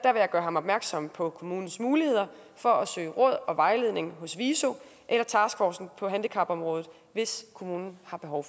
jeg gøre ham opmærksom på kommunens muligheder for at søge råd og vejledning hos viso eller taskforcen på handicapområdet hvis kommunen har behov